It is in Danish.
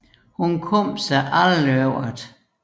Hun kom sig aldrig over det